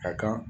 A kan